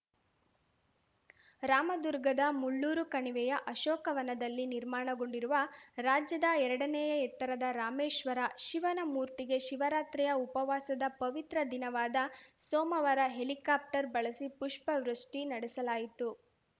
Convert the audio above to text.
ರಾಮದುರ್ಗದ ಮುಳ್ಳೂರು ಕಣಿವೆಯ ಅಶೋಕ ವನದಲ್ಲಿ ನಿರ್ಮಾಣಗೊಂಡಿರುವ ರಾಜ್ಯದ ಎರಡನೇಯ ಎತ್ತರದ ರಾಮೇಶ್ವರ ಶಿವನ ಮೂರ್ತಿಗೆ ಶಿವರಾತ್ರಿಯ ಉಪವಾಸದ ಪವಿತ್ರ ದಿನವಾದ ಸೋಮವಾರ ಹೆಲಿಕಾಪ್ಟರ್ ಬಳಸಿ ಪುಷ್ಪವೃಷ್ಠಿ ನಡೆಸಲಾಯಿತು